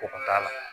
O ka la